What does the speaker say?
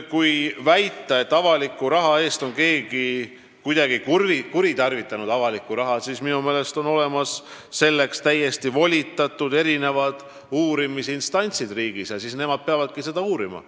Kui väita, et keegi on kuidagi kuritarvitanud avalikku raha, siis minu meelest on riigis olemas selleks täiesti volitatud uurimisinstantsid, kes peavadki seda uurima.